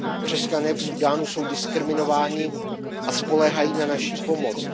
Křesťané v Súdánu jsou diskriminováni a spoléhají na naši pomoc.